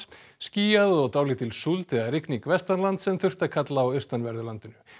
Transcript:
skýjað og dálítil súld eða rigning vestanlands en þurrt að kalla á austanverðu landinu